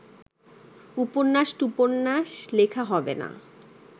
উপন্যাস-টুপন্যাস লেখা হবে না